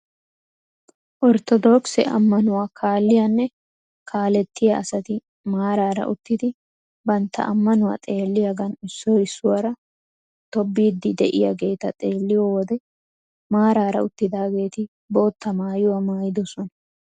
Orttoodokise ammanuwaa kalliyaanne kalettiyaa asati maarara uttidi bantta ammanuwaa xeelliyaagan issoy issuwaara tobettiidi de'iyaageta xeelliyoo wode maarara uttidaageti bootta maayuwaa maayidosona!